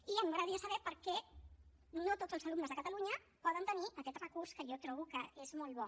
i a mi m’agradaria saber per què no tots els alumnes de catalunya poden tenir aquest recurs que jo trobo que és molt bo